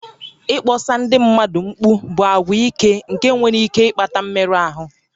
Ịkpọsa ndị mmadụ mkpu bụ àgwà ike nke nwere ike ịkpata mmerụ ahụ